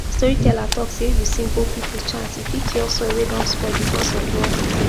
storyteller talk say if you sing old people chant e fit cure soil wey don spoil because of rough digging